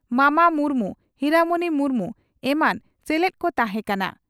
ᱢᱟᱢᱟ ᱢᱩᱨᱢᱩ ᱦᱤᱨᱟᱢᱚᱱᱤ ᱢᱩᱨᱢᱩ ᱮᱢᱟᱱ ᱥᱮᱞᱮᱫ ᱠᱚ ᱛᱟᱦᱮᱸ ᱠᱟᱱᱟ ᱾